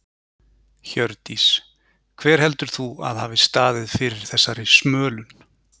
Hjördís: Hver heldur þú að hafi staðið fyrir þessari smölun?